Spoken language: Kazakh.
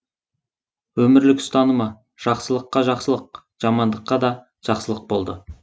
өмірлік ұстанымы жақсылыққа жақсылық жамандыққа да жақсылық болды